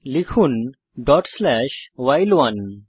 লিখুন dot slash ভাইল1